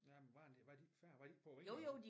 Jamen var den var de ikke færdige var de ikke på vingerne